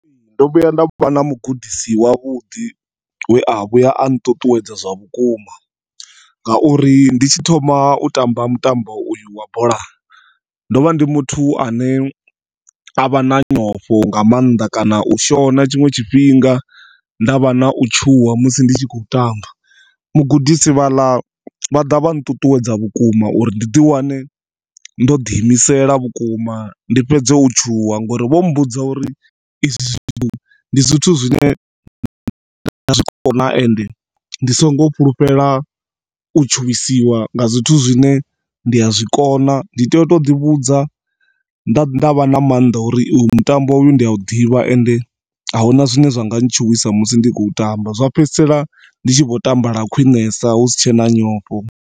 Ndo vhuya nda vha na mugudisi wa vhuḓi wea vhuya a nṱuṱuwedza zwa vhukuma ngauri nditshi thoma u tamba mutambo uyu wa bola ndovha ndi muthu ane avha na nyofho nga maanḓa kana u shona tshiṅwe tshifhinga ndavha na u tshuwa musi nditshi kho tamba mugudisi vhaḽa vhaḓa vha nṱuṱuwedza vhukuma uri ndiḓi wane ndoḓi imisela vhukuma ndi fhedze u tshuwa ngori vho mbudza uri izwi zwithu ndi zwithu zwine nda zwikona ende ndisingo fhulufhela u tshuwisiwa nga zwithu zwine ndia zwikona. Ndi tea u toḓi vhudza ndavha na maanḓa a uri uyu mutambo uyu ndia u ḓivha ende ahuna zwinwe zwanga ntshuwisa musi ndi kho u tamba zwa fhedzisela nditshi kho tamba lwa khwiṋesa husina nyofho.